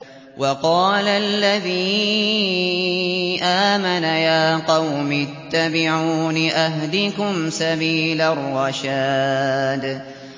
وَقَالَ الَّذِي آمَنَ يَا قَوْمِ اتَّبِعُونِ أَهْدِكُمْ سَبِيلَ الرَّشَادِ